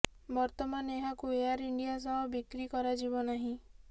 ବର୍ତ୍ତମାନ ଏହାକୁ ଏୟାର ଇଣ୍ଡିଆ ସହ ବିକ୍ରି କରାଯିବ ନାହିଁ